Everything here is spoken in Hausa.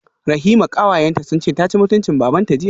Rahima kawayenta sunce taci mutuncin babanta jiya